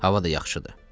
Hava da yaxşıdır.